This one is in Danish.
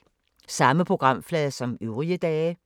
Samme programflade som øvrige dage